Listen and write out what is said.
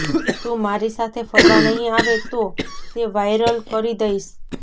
તું મારી સાથે ફરવા નહીં આવે તો તે વાઇરલ કરી દઇશ